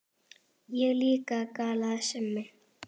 Ég líka galaði Simmi.